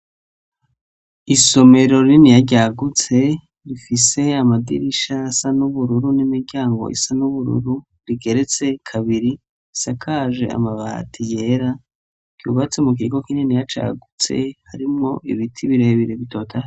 Isomero riniya ryagutse, rifise amadirisha asa n'ubururu n'imiryango isa n'ubururu rigeretse kabiri isakaje amabati yera ryubatsi mu kigo k'ininiya cagutse harimwo ibiti birebire bitota.